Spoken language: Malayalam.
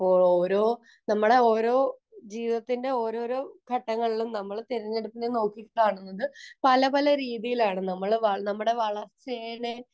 അപ്പൊ ഓരോ നമ്മളെ ഓരോ ജീവിതത്തിന്റെ ഓരോരോ ഘട്ടങ്ങളിലും നമ്മൾ തെരഞ്ഞെടുപ്പിനെ നോക്കി കാണുന്നത് പല പല രീതിയിൽ ആയിരുന്നു നമ്മളെ വളർച്ചയെ